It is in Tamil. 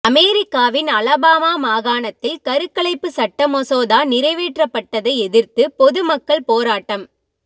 அமெரிக்காவின் அலபாமா மாகாணத்தில் கருக்கலைப்பு சட்டமசோதா நிறைவேற்றப்பட்டதை எதிர்த்து பொதுமக்கள் போராட்டம்